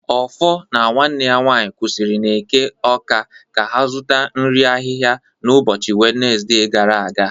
Offor na nwanne ya nwanyị kwụsịrị n'Eke Awka ka ha zụta nri ahịhịa n'ụbọchị Wenezde gara aga